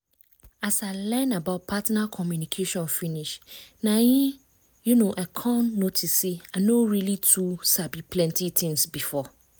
as i learn about partner communication finish na em um i come notice say i no really too sabi plenty things before.